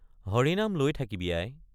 হৰি নাম লৈ থাকিবি আই।